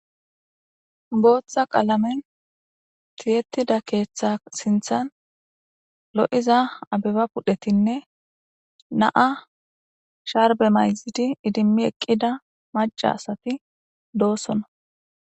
gooththa qaalamen tiyettida keeththa sinthan lo7iza abeba pudhetinne naa sharbe mayzidi idimmi eqqida maca asati doossona